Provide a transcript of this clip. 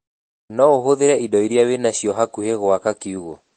Noũhũthĩre indo iria wĩna cio hakuhĩ nawe gũaka kiugũ